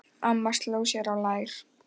Amma sló sér á lær.